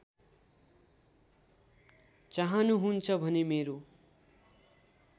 चाहनुहुन्छ भने मेरो